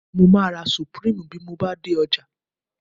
Mo máa ra Supreme bí mo bá dé ọjà